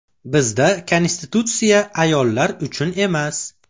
Bizda Konstitutsiya ayollar uchun emas.